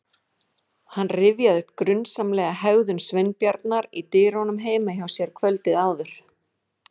Hann rifjaði upp grunsamlega hegðun Sveinbjarnar í dyrunum heima hjá sér kvöldið áður.